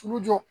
Tulu jɔ